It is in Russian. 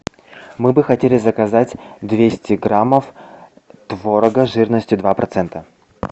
мы бы хотели заказать двести граммов творога жирностью два процента